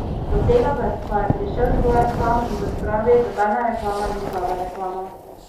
Do tega pa je prišel Stojan sam, in kot pravi, nobena reklama ni slaba reklama!